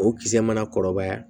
O kisɛ mana kɔrɔbaya